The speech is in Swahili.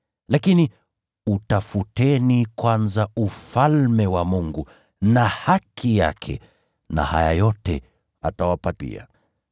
Lakini utafuteni kwanza Ufalme wa Mungu na haki yake, na haya yote atawapa pia.